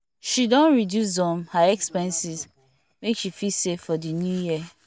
she don reduce um her expenses make she fit save for the new year